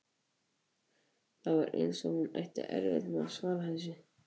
Það var eins og hún ætti erfitt með að svara þessu.